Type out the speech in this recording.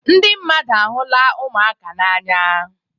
Ndị mmadụ ahụla ụmụaka n'anya.